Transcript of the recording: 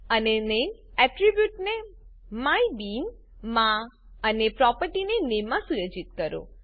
અને નેમ એટ્રીબ્યુટને માયબીન માં અને પ્રોપર્ટીને નામે માં સુયોજિત કરો